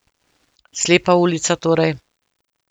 Slepa ulica, torej.